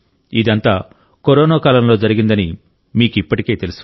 ఇదంతా కరోనా కాలంలో జరిగిందని మీకు ఇప్పటికే తెలుసు